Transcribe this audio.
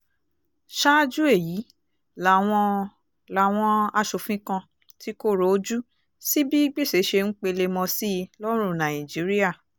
ṣáájú èyí làwọn làwọn asòfin kan ti kọ́rọ̀ ojú sí bí gbèsè ṣe ń pelemọ sí i lọ́rùn nàìjíríà